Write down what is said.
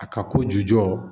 A ka kojugu jɔ